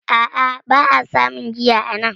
A a, ba a samun giya anan